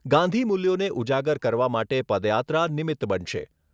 ગાંધીમૂલ્યોને ઉજાગર કરવા માટે પદયાત્રા નિમિત્ત બનશે.